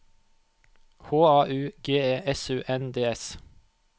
H A U G E S U N D S